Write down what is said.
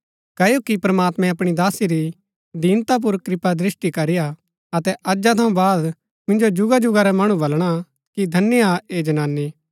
क्ओकि प्रमात्मैं अपणी दासी री दीनता पुर कृपादृष्‍टि करी हा अतै अजा थऊँ बाद मिन्जो जुगाजुगा रै मणु वलणा कि धन्य हा ऐह जनानी